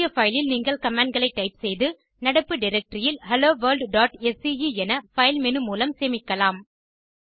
புதிய பைலில் நீங்கள் கமாண்ட் களை டைப் செய்து நடப்பு டைரக்டரி இல் helloworldஸ்கே என பைல் மேனு மூலம் சேமிக்கலாம்